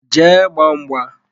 Jee gbaa mgba!